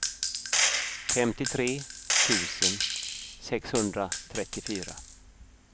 femtiotre tusen sexhundratrettiofyra